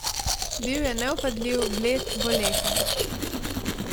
Bil je nevpadljiv, bled, bolehen.